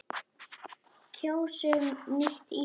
Kjósum nýtt Ísland.